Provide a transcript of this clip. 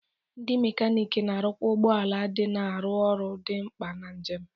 Ndi mekaniki na-arụkwa ụgbọ ala ndị na-arụ ọrụ dị mkpa na njem.